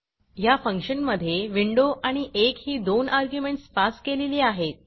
ह्या फंक्शन मधे विंडो आणि 1 ही दोन अर्ग्युमेंटस पास केलेली आहेत